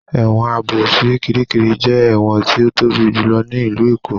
Ẹ̀wọ̀n Ààbò ti Kiríkirì jẹ́ ẹ̀wọ̀n tí ó tóbi jùlọ ní ìlú Èkó